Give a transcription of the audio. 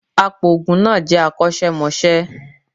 Apoògùn náà jẹ akọ́ṣẹ́mọṣẹ́